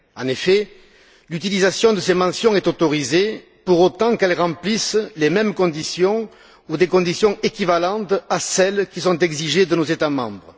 En effet, l'utilisation de ces mentions est autorisée pour autant qu'elles remplissent les mêmes conditions ou des conditions équivalentes à celles qui sont exigées de nos États membres.